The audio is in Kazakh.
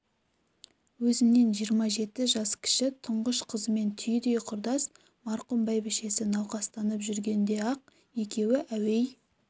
өзінен жиырма жеті жас кіші тұңғыш қызымен түйідей құрдас марқұм бәйбішесі науқастанып жүргенде-ақ екеуі әуей